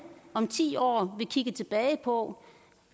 om ti år vil kigge tilbage på